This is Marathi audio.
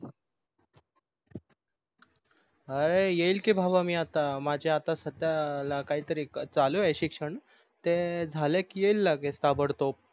अरे येईल की भाव मी आता माझे आता सध्या काहीतरी चालू आहे शिक्षण ते झाले की येईल लगेच ताबडतोब